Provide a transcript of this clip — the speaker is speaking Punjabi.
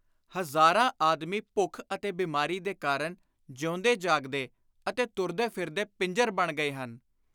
ਹਜ਼ਾਰਾਂ ਆਦਮੀ ਭੁੱਖ ਅਤੇ ਬੀਮਾਰੀ ਦੇ ਕਾਰਨ ਜੀਉਂਦੇ ਜਾਗਦੇ ਅਤੇ ਤੁਰਦੇ ਫਿਰਦੇ ਪਿੰਜਰ ਬਣ ਗਏ ਹਨ।